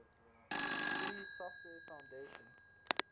free software foundation